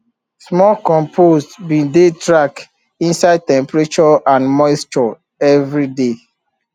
smart compost bin dey track inside temperature and moisture every day